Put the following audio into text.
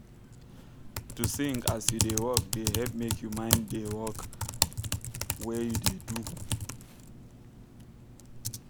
to sing as you da work da help make you mind da work wey you da do